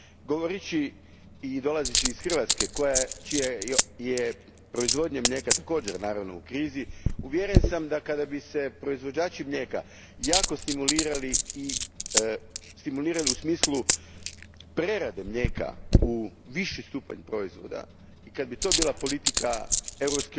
Govoreći i dolazeći iz Hrvatske čija je proizvodnja mlijeka također u krizi, uvjeren sam da kada bi se proizvođači mlijeka jako stimulirali u smislu prerade mlijeka u viši stupanj proizvoda te kada bi to bila politika EU